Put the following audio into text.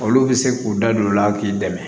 Olu bɛ se k'u da don o la k'i dɛmɛ